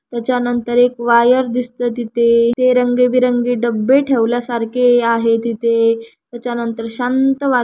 याच्या नंतर एक वायर दिसते तिथे ते रंग-बिरंगी डब्बे ठेवल्या सारखे आहे तिथे त्याच्या नंतर शांत वातावरण--